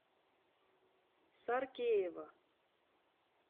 саркеева